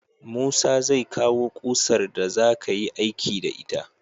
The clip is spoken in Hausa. Musa zai kawo kusar da za kayi aiki da ita